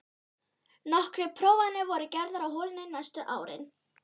Nokkrar prófanir voru gerðar á holunni næstu árin.